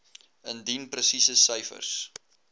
indien presiese syfers